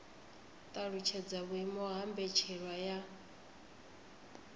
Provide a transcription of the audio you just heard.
talutshedza vhuimo ha mbetshelwa ya